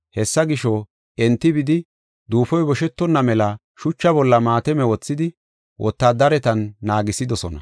Hessa gisho, enti bidi duufoy boshetonna mela shuchaa bolla maatame wothidi wotaadaretan naagisidosona.